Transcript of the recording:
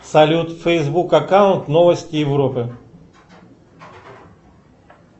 салют фейсбук аккаунт новости европы